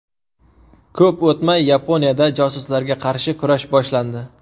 Ko‘p o‘tmay, Yaponiyada josuslarga qarshi kurash boshlandi.